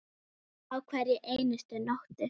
Á hverri einustu nóttu.